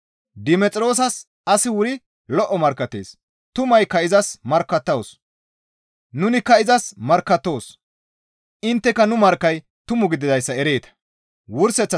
Dimexiroosas asi wuri lo7o markkattees; tumaykka izas markkattawus; nunikka izas markkattoos; intteka nu markkay tumu gididayssa ereeta.